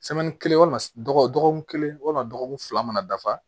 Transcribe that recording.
kelen walima dɔgɔkun kelen walima dɔgɔkun fila mana dafa